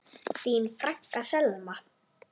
Þín frænka, Selma.